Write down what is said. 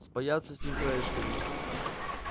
спаяться с ним краешками